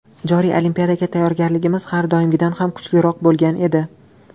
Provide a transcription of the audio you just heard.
Joriy Olimpiadaga tayyorgarligimiz har doimgidan ham kuchliroq bo‘lgan edi.